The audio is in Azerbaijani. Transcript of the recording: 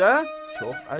Çox əcəb.